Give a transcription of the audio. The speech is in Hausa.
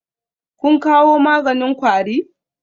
Kun kawo maganin kwari?